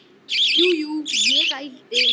Já, fyrir löngu.